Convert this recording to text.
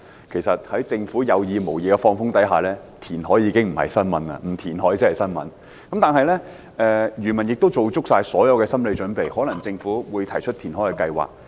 其實，在政府有意無意"放風"的情況下，填海已經不是新聞，不填海才是新聞，漁民亦已做足心理準備，預計政府可能會提出填海計劃。